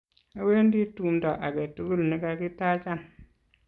awendi tumdo age tugul ne kakitachan